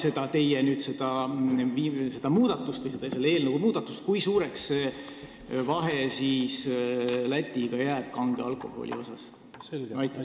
Ja kui suureks kujuneb selle eelnõu kohaselt peale seda teie muudatust vahe Lätiga – pean silmas kange alkoholi aktsiisi?